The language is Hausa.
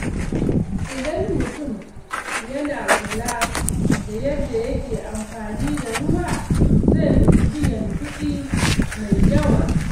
Idan mutum yana kula da yadda yake amfani da ruwa, zai guji biyan kuɗi mai yawa.